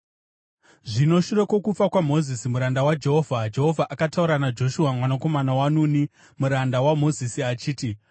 Zvino shure kwokufa kwaMozisi muranda waJehovha, Jehovha akataura naJoshua mwanakomana waNuni, muranda waMozisi achiti,